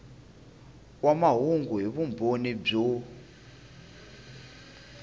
wa mahungu hi vumbhoni byo